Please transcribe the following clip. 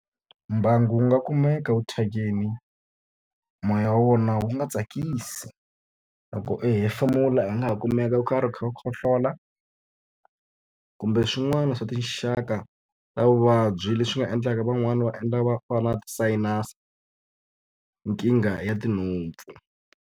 Mbangu wu nga kumeka wu thyakile moya wa wona wu nga tsakisi. Loko u hefemula hi nga ha kumeka u karhi u kha u khohlola, kumbe swin'wana swa tinxaka ta vuvabyi leswi nga endlaka van'wani va va va na ti-sinus, nkingha ya tinhompfu.